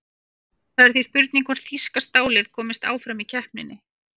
Það er því spurning hvort þýska stálið komist áfram í keppninni?